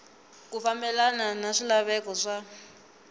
ku fambelena na swilaveko swa